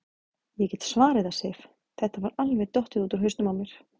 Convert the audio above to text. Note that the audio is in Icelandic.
Ég get svarið það, Sif, þetta var alveg dottið út úr hausnum á mér.